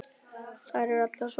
Það eru allir svo opnir.